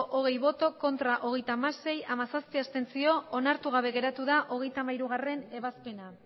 hogei bai hogeita hamasei ez hamazazpi abstentzio onartu gabe geratu da hogeita hamairugarrena ebazpena